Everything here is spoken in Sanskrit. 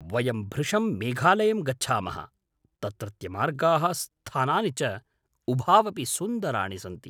वयं भृशं मेघालयं गच्छामः, तत्रत्यमार्गाः स्थानानि च उभावपि सुन्दराणि सन्ति।